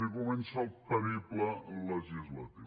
i comença el periple legislatiu